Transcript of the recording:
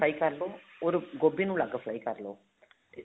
fry ਕਰਲੋ or ਗੋਭੀ ਨੂੰ ਅਲੱਗ fry ਕਰਲੋ ਤੇ